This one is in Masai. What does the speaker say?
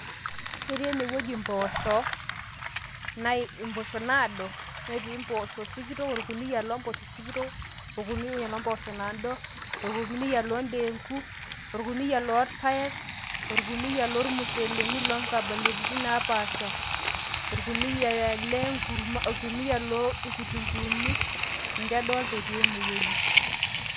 Ketii enewueji impoosho ,impoosho naado netii impoosho sikitok ,orkuniyia loompoosho sikitok orkuniayia loompoosho naado orkuniyia loo ndeenku orkuniyia loorpaek orkuniyia loormusheleni loonkabilaritin naapasha orkuniyia lenkurma orkuniyia loonkitunkuuni ninche adoolta etii ene wueji.